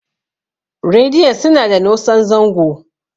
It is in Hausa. rediyon suna da nosan zango